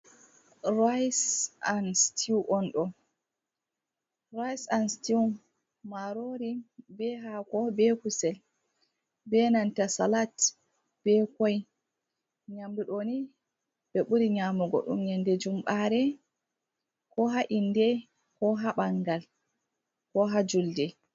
Rice and stew marori be hako be kusel be nanta salat be koi, nyamdu ɗo ni ɓe ɓuri nyamugo ɗum yende jumɓare, ko ha inde, ko ha ɓangal, ko ha julde.